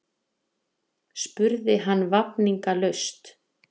spurði hann vafningalaust.